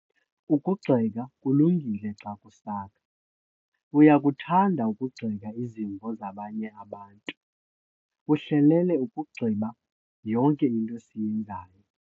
Ukugxeka kulungile xa kusakha. uyakuthanda ukugxeka izimvo zabanye abantu, uhlelele ukugxibha yonke into esiyenzayo